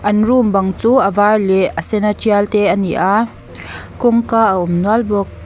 an room bang chu a var leh a sena tial te a ni a kawngka a awm nual bawk.